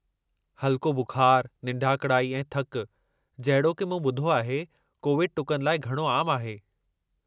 हल्को बुख़ारु, निंढाकड़ाई ऐं थकि, जहिड़ोकि मूं ॿुधो आहे, कोविड टुकनि लाइ घणो आम आहे।